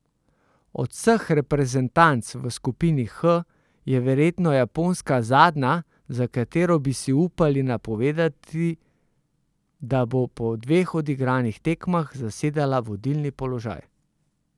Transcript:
Od vseh reprezentanc v skupini H je verjetno japonska zadnja, za katero bi si upali napovedati, da bo po dveh odigranih tekmah zasedala vodilni položaj.